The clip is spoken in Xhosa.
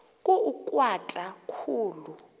ku ugatya khulu